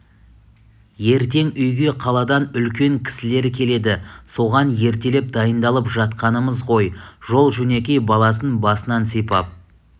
ертең үйге қаладан үлкен кісілер келеді соған ертелеп дайындалып жатқанымыз ғой жол-жөнекей баласын басынан сипап